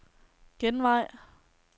genvej